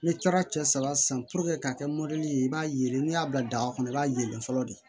N'i taara cɛ saba san ka kɛ mɔdi ye i b'a yelen n'i y'a bila daga kɔnɔ i b'a yelen fɔlɔ de